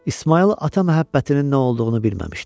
İsmayıl ata məhəbbətinin nə olduğunu bilməmişdi.